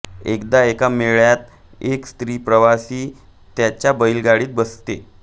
एकदा एका मेळ्यात एक स्त्री प्रवासी त्याच्या बैलगाडीत बसते